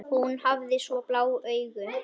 Hún hafði svo blá augu.